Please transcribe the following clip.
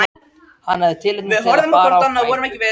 Hann hafði tilefni til að fara á knæpu.